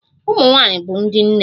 Ụmụ nwanyị bụ ndị nne